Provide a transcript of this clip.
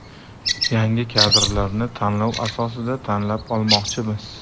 Yangi kadrlarni tanlov asosida tanlab olmoqchimiz.